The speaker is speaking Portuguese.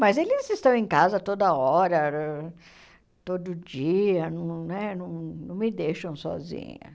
Mas eles estão em casa toda hora, todo dia, não né não não me deixam sozinha.